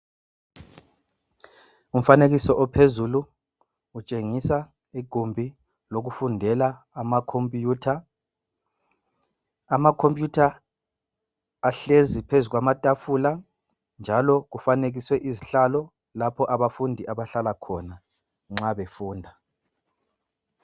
Umfanekiso ophezulu utshengisa igumbi lokufundela amakhompiyutha, ahlezi phezu kwamatafula njalo kufanekiswe izihlalo lapho abafundi abahlala khona nxa befunda.